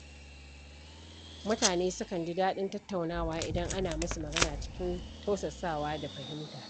Mutane sukan ji daɗin tattaunawa idan ana musu magana cikin tausasawa da fahimta.